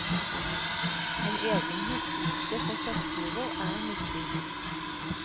En egen huskeliste for soppturer er nyttig.